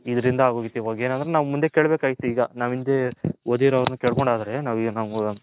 ಇದರಿಂದ ಆಗೋಗಿತ್ತು ಇವಾಗ ಏನಂದ್ರೆ ಮುಂದೆ ಕೇಳಬೇಕಾಗಿತ್ತು ಈಗ ನಾವು ಹಿಂದೆ ಓದಿರೋರ್ ನ್ ಕೇಳ್ಕೊಂಡು ಹೋದರೆ ನಾವು